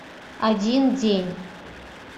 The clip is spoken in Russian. один день